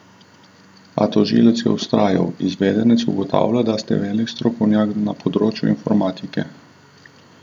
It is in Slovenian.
A tožilec je vztrajal: "Izvedenec ugotavlja, da ste velik strokovnjak na področju informatike.